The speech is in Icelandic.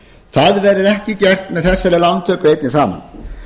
það verður ekki gert með þessari lántöku einni saman